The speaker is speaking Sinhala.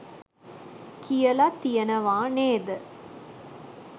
කියල තියනවා නේද?